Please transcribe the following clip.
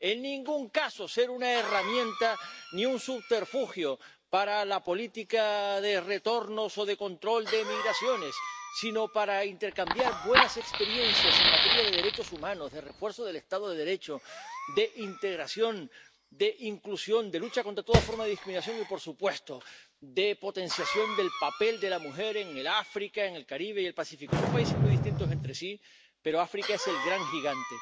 En ningún caso debe ser una herramienta ni un subterfugio para la política de retornos o de control de emigraciones, sino que debe serlo para intercambiar buenas experiencias en materia de derechos humanos, de refuerzo del estado de Derecho, de integración, de inclusión, de lucha contra toda forma de discriminación y, por supuesto, de potenciación del papel de la mujer en África, el Caribe y el Pacífico. Son regiones muy distintas entre sí, pero África es el gran gigante.